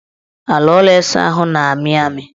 Ala ụlọ ịsaahụ ahụ na-amị amị